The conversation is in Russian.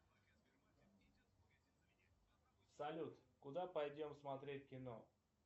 салют куда пойдем смотреть кино